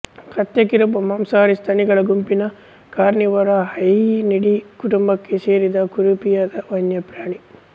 ಕತ್ತೆ ಕಿರುಬ ಮಾಂಸಾಹಾರಿ ಸ್ತನಿಗಳ ಗುಂಪಿನ ಕಾರ್ನಿವೊರ ಹೈಯಿನಿಡೀ ಕುಟುಂಬಕ್ಕೆ ಸೇರಿದ ಕುರೂಪಿಯಾದ ವನ್ಯಪ್ರಾಣಿ